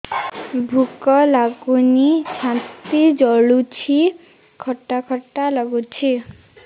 ଭୁକ ଲାଗୁନି ଛାତି ଜଳୁଛି ଖଟା ଖଟା ଲାଗୁଛି